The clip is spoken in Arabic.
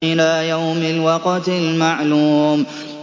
إِلَىٰ يَوْمِ الْوَقْتِ الْمَعْلُومِ